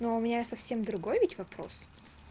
но у меня совсем другой ведь вопрос